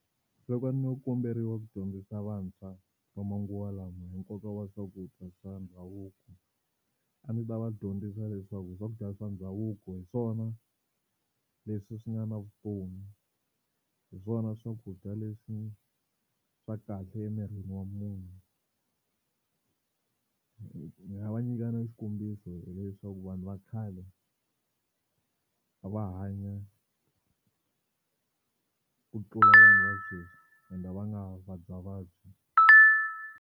Loko a ndzo komberiwa ku dyondzisa vantshwa va manguva lawa hi nkoka wa swakudya swa ndhavuko, a ndzi ta va dyondzisa leswaku swakudya swa ndhavuko hi swona leswi swi nga na vutomi hi swona swakudya leswi swa kahle emirini wa munhu ni nga va nyika na xikombiso hileswaku vanhu va khale a va hanya ku tlula vanhu va sweswi ende a va nga vabyavabyi.